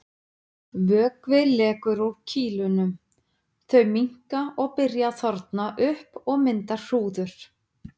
Vökvi lekur úr kýlunum, þau minnka og byrja að þorna upp og mynda hrúður.